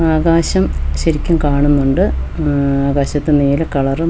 ആകാശം ശെരിക്കും കാണുന്നുണ്ട് ഉം ആകാശത്ത് നീല കളറും വെള്ള കളറും --